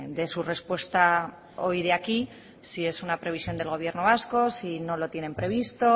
de su respuesta hoy de aquí si es una previsión del gobierno vasco si no lo tienen previsto